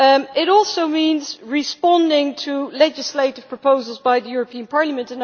It also means responding to legislative proposals by the European Parliament.